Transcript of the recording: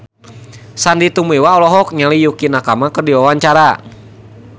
Sandy Tumiwa olohok ningali Yukie Nakama keur diwawancara